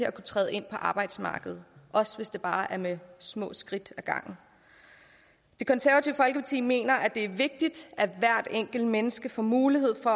at kunne træde ind på arbejdsmarkedet også hvis det bare er med små skridt ad gangen det konservative folkeparti mener at det er vigtigt at hvert enkelt menneske får mulighed for